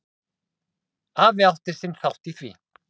Afi átti sinn þátt í því.